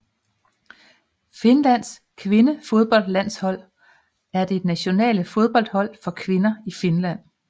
Finlands kvindefodboldlandshold er det nationale fodboldhold for kvinder i Finland